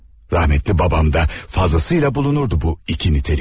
Rahmətli babam da fazlasıyla bulunurdu bu iki nitelik.